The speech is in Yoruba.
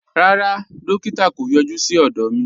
Rárá, dòkítà̀ kò yọ̀jú sí ọdọ mi.